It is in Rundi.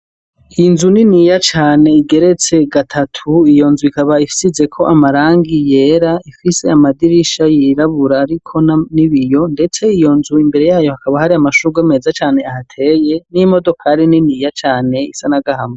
Inzu niniya cane igeretse gatatu iyo nzu ikaba ifsizeko amarangiyera ifwise amadirisha yirabura, ariko na ni biyo, ndetse iyo nzu imbere yayo hakaba ahari amashurwa meza cane ahateye n'imodokari niniya cane isana gahama.